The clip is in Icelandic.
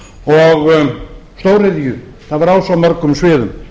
og stóriðju það var á svo mörgum sviðum